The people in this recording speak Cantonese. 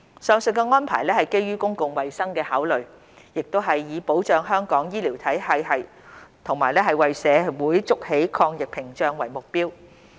上述安排是基於公共衞生考量，亦是以保障香港醫療系統及為社會築起抗疫屏障為目標。